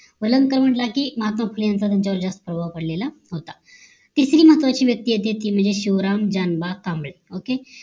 वेलणकर म्हंटलं कि महात्मा फुले यांच्या वर त्यांचं जास्त प्रभाव पडलेलं होत तिसरी महत्वाची व्यक्ती येते ती म्हणजे शिवराम जानबाग कांबळे okay